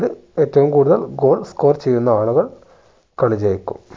ഇത് ഏറ്റവും goal score ചെയ്യുന്ന ആളുകൾ കളി ജയിക്കും